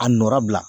A nɔra bila